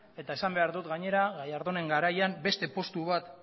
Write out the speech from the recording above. eta esan behar dut gainera gallardónen garaian beste postu bat